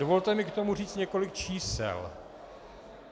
Dovolte mi k tomu říct několik čísel.